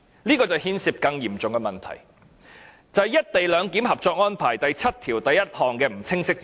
這牽涉一項更嚴重的問題，就是"一地兩檢"《合作安排》第七1條的不清晰之處。